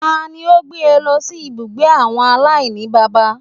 Tani ó gbé e lọ sí ibùgbé àwọn aláìníbàbá